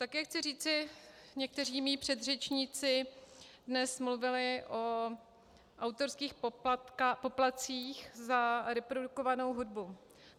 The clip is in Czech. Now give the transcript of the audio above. Také chci říci, někteří mí předřečníci dnes mluvili o autorských poplatcích za reprodukovanou hudbu.